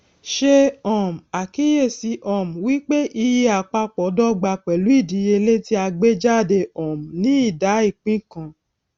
ṣe um àkíyèsí um wípé iye àpapọ dọgba pẹlú ìdíyelé tí a gbé jáde um ní ìdá ìpín kan